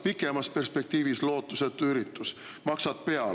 Pikemas perspektiivis lootusetu üritus, maksad peale.